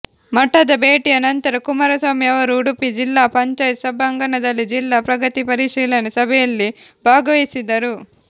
ಮಠದ ಭೇಟಿಯ ನಂತರ ಕುಮಾರಸ್ವಾಮಿ ಅವರು ಉಡುಪಿ ಜಿಲ್ಲಾ ಪಂಚಾಯತ್ ಸಭಾಂಗಣದಲ್ಲಿ ಜಿಲ್ಲಾ ಪ್ರಗತಿ ಪರಿಶೀಲನೆ ಸಭೆಯಲ್ಲಿ ಭಾಗವಹಿಸಿದರು